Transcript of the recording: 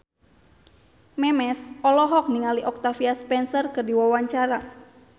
Memes olohok ningali Octavia Spencer keur diwawancara